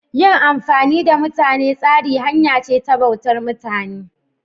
Yin amfani da mutane tsari hanya ce ta bautar mutane.